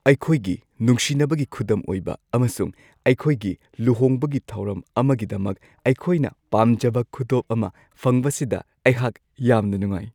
ꯑꯩꯈꯣꯏꯒꯤ ꯅꯨꯡꯁꯤꯅꯕꯒꯤ ꯈꯨꯗꯝ ꯑꯣꯏꯕ ꯑꯃꯁꯨꯡ ꯑꯩꯈꯣꯏꯒꯤ ꯂꯨꯍꯣꯡꯕꯒꯤ ꯊꯧꯔꯝ ꯑꯃꯒꯤꯗꯃꯛ ꯑꯩꯈꯣꯏꯅ ꯄꯥꯝꯖꯕ ꯈꯨꯗꯣꯞ ꯑꯃ ꯐꯪꯕꯁꯤꯗ ꯑꯩꯍꯥꯛ ꯌꯥꯝꯅ ꯅꯨꯡꯉꯥꯏ ꯫